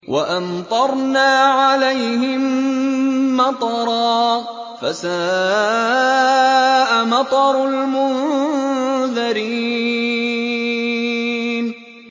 وَأَمْطَرْنَا عَلَيْهِم مَّطَرًا ۖ فَسَاءَ مَطَرُ الْمُنذَرِينَ